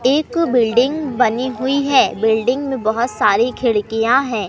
एक बिल्डिंग बनी हुई है बिल्डिंग मे बहोत सारी खिड़कियां है।